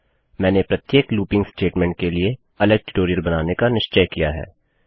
मैंने प्रत्येक looping statement के लिए अलग ट्यूटोरियल बनाने का निश्चय किया है